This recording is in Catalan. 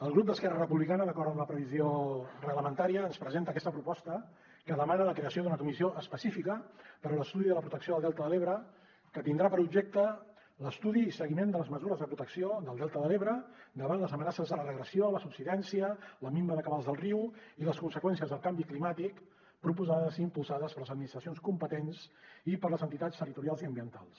el grup d’esquerra republicana d’acord amb la previsió reglamentària ens presenta aquesta proposta que demana la creació d’una comissió específica per a l’estudi de la protecció del delta de l’ebre que tindrà per objecte l’estudi i seguiment de les mesures de protecció del delta de l’ebre davant les amenaces de la regressió la subsidència la minva de cabals del riu i les conseqüències del canvi climàtic proposades i impulsades per les administracions competents i per les entitats territorials i ambientals